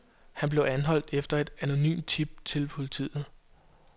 Han blev anholdt efter et anonymt tip til politiet.